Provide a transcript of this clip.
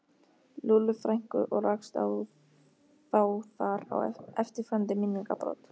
Lúllu frænku og rakst þá þar á eftirfarandi minningabrot